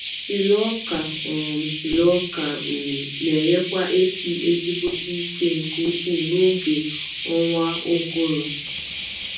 Silo ọka um Silo ọka um n’enyekwa efi ezigbote ike nke ukwu na oge ọnwa ụgụrụ